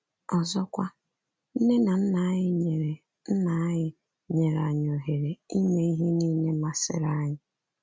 Ọzọkwa, nne na nna anyị nyere nna anyị nyere anyị ohere ime ihe nile masịrị anyị.